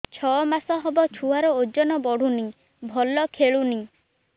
ଛଅ ମାସ ହବ ଛୁଆର ଓଜନ ବଢୁନି ଭଲ ଖେଳୁନି